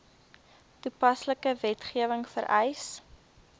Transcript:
toepaslike wetgewing vereis